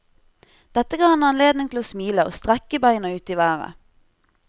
Dette gav ham anledning til å smile og strekke beina ut i været.